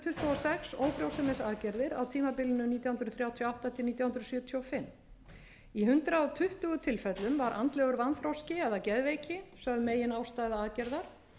ófrjósemisaðgerðir á tímabilinu nítján hundruð þrjátíu og átta til nítján hundruð sjötíu og fimm í hundrað tuttugu tilfellum var andlegur vanþroski eða geðveiki sögð meginástæða aðgerðar